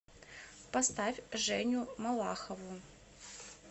поставь женю малахову